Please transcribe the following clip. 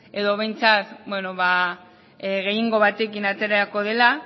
edo behintzat bueno ba gehiengo batekin aterako dela